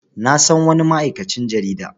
Na san wani ma'aikacin jarida.